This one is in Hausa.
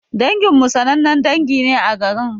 Dangin mu sanannen dangi ne a garin.